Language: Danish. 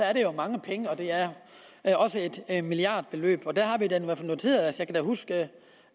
er det jo mange penge og det er da også et milliardbeløb jeg kan huske